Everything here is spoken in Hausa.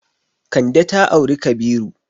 Kande ta auri Kabiru.